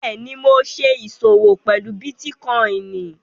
Bẹ́ẹ̀ni, ḿó ṣè iṣọwọ̀ pẹ̀lú Bitikòinì.